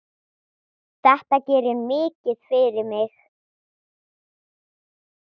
Þetta gerir mikið fyrir mig.